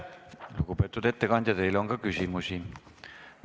Lugupeetud ettekandja, teile on ka küsimusi.